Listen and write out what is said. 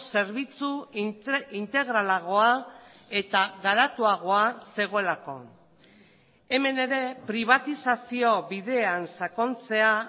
zerbitzu integralagoa eta garatuagoa zegoelako hemen ere pribatizazio bidean sakontzea